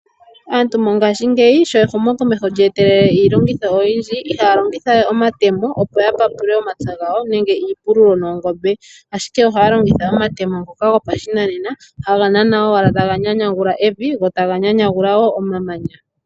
Aantu mongashiingeyi sho ehumokomeho lya etelele iilongitho oyindji ihaya longitha we omatemo opo ya papule omapya gawo nenge iipululo noongombe, ashike ohaya longitha omatemo ngoka gopashinanena haga nanwa owala taga nyanyagula evi go taga nyanyagula wo omamanya.